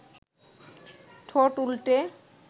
ঠোঁট উল্টে